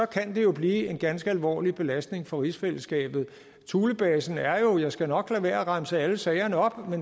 kan det jo blive en ganske alvorlig belastning for rigsfællesskabet thulebasen er jo jeg skal nok lade være at remse alle sagerne op